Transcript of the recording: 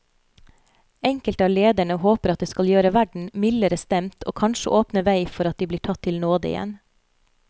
Enkelte av lederne håper at det skal gjøre verden mildere stemt og kanskje åpne vei for at de blir tatt til nåde igjen.